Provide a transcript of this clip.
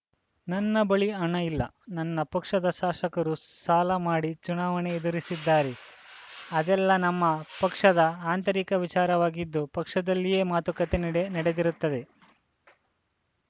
ನನ್ನ ಬಳಿ ಹಣ ಇಲ್ಲ ನನ್ನ ಪಕ್ಷದ ಶಾಸಕರು ಸಾಲ ಮಾಡಿ ಚುನಾವಣೆ ಎದುರಿಸಿದ್ದಾರೆ ಅದೆಲ್ಲ ನಮ್ಮ ಪಕ್ಷದ ಆಂತರಿಕ ವಿಚಾರವಾಗಿದ್ದು ಪಕ್ಷದಲ್ಲಿಯೇ ಮಾತುಕತೆ ನಡೆ ನಡೆದಿರುತ್ತದೆ